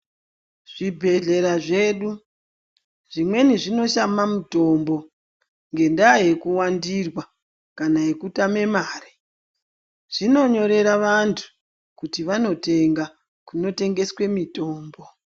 Zvibhedhlera zvedu zvimweni zvinoshama mutombo ngendaa yekuwandirwa kana yekutama mare zvinonyorera vantu kuti vanotenga kunotengeswe mitombo.